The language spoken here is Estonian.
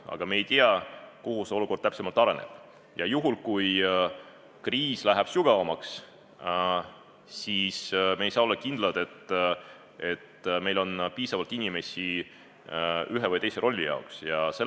Aga me ei tea, kuidas see olukord täpsemalt areneb, ja kui kriis läheb sügavamaks, siis me ei saa olla kindlad, et meil on ühe või teise rolli jaoks piisavalt inimesi.